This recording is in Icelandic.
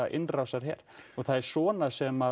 innrásarher það er svona sem